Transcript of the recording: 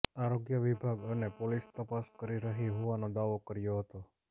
આરોગ્ય વિભાગ અને પોલીસ તપાસ કરી રહી હોવાનો દાવો કર્યો હતો